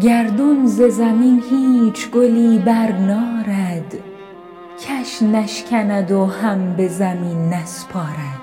گردون ز زمین هیچ گلی برنارد کش نشکند و هم به زمین نسپارد